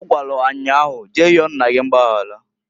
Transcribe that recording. Ọ gwalụ ha nnyaa ahu, Jee yọọ nna gi mgbayara.